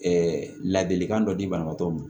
ladilikan dɔ di banabaatɔ ma